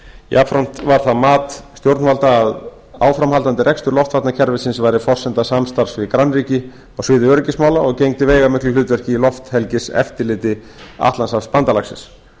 jafnframt var það mat stjórnvalda að áframhaldandi rekstur loftvarnakerfisins væri forsenda samstarfs við grannríki á sviði öryggismála og gegndi veigamiklu hlutverki í lofthelgiseftirliti atlantshafsbandalagsins það